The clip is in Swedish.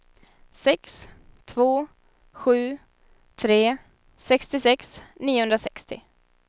sex två sju tre sextiosex niohundrasextio